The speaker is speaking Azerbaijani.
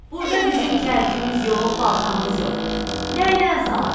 Burda bizim kərkimiz yox, baltamız yox, nəynən salaq?